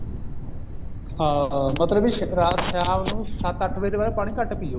ਹਾਂ ਮਤਲਬ ਕਿ ਸ਼ਾਮ ਨੂੰ ਰਾਤ ਨੂੰ ਪਾਣੀ ਸੱਤ ਅੱਠ ਵਜੇ ਤੋਂ ਬਾਅਦ ਪਾਣੀ ਘੱਟ ਪਿਓ